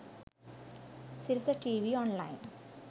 sirasa tv online